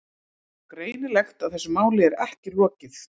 Greinilegt að þessu máli er ekki lokið.